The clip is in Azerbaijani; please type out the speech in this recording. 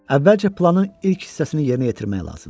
Əvvəlcə planın ilk hissəsini yerinə yetirmək lazımdır.